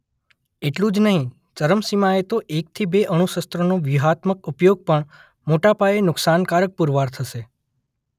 એટલું જ નહીં ચરમસીમાએ તો એકથી બે અણુશસ્રોનો વ્યૂહાત્મક ઉપયોગ પણ મોટા પાયે નુકસાનકારક પુરવાર થશે.